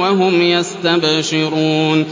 وَهُمْ يَسْتَبْشِرُونَ